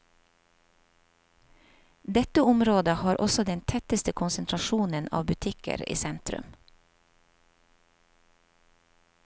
Dette området har også den tetteste konsentrasjonen av butikker i sentrum.